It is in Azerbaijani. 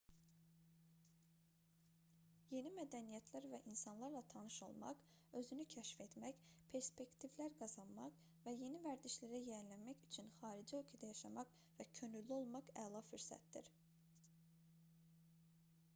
yeni mədəniyyətlər və insanlarla tanış olmaq özünü kəşf etmək perspektivlər qazanmaq və yeni vərdişlərə yiyələnmək üçün xarici ölkədə yaşamaq və könüllü olmaq əla fürsətdir